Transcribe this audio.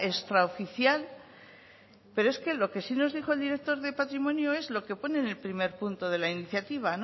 extraoficial pero es que lo que sí nos dijo el director de patrimonio es lo que pone en el primer punto de la iniciativa